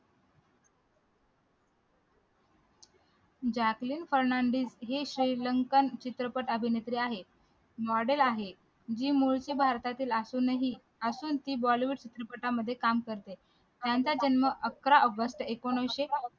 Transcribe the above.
Jacqueline Fernandez ही Sri Lankan चित्रपट अभिनेत्री आहे model आहे ही मूळची भारतातील असूनही असून ती bollywood चित्रपटांमध्ये काम करते त्यांचा जन्म अकरा ऑगस्ट एकोणीशे